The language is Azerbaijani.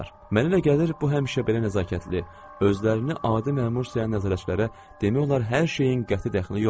Mənə elə gəlir, bu həmişə belə nəzakətli özlərini adi məmur sayan nəzarətçilərə demək olar hər şeyin qəti dəxli yoxdur.